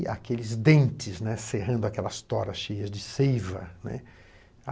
E aqueles dentes, né, cerrando aquelas toras cheias de seiva, né.